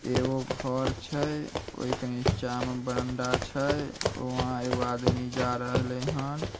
एगो घर छै। ओय के नीचा में बरंडा छै। वहाँ एगो आदमी जे रहले हन ।